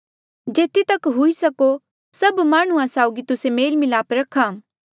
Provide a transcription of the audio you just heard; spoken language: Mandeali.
जेथी तक हुई सको सभ माह्णुं साउगी तुस्से मेल मिलाप रखा